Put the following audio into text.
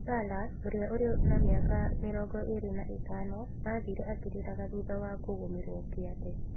Salah, ũrĩa ũrĩ na mĩaka 25, aathiire akĩrĩraga thutha wa kũgũmĩrũo kĩande.